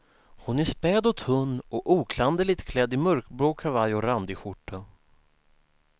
Hon är späd och tunn och oklanderligt klädd i mörkblå kavaj och randig skjorta.